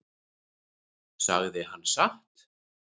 Sagði hann satt?